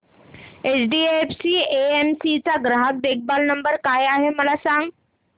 HDFC AMC चा ग्राहक देखभाल नंबर काय आहे मला सांग